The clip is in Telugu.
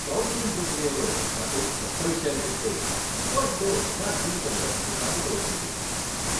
కౌన్సెలింగ్ ప్రక్రియతో నాకు కొత్త విషయాలు తెలిసాయి, వాటితో నా జీవితంలో ప్రశాంతత వచ్చింది.